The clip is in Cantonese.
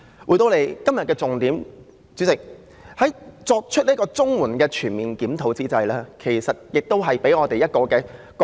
回到今天的重點，主席，在要求政府對綜援進行全面檢討之際，今天亦讓我們有一個覺醒。